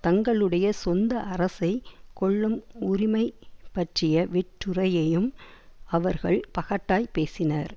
தங்களுடைய சொந்த அரசை கொள்ளும் உரிமை பற்றிய வெற்றுரையையும் அவர்கள் பகட்டாய் பேசினர்